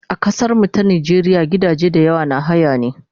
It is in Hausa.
A kasar mu ta Najeriya gidaje da yawa na haya ne